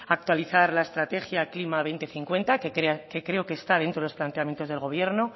actualizar la estrategia klima dos mil cincuenta que creo que está dentro de los planteamientos del gobierno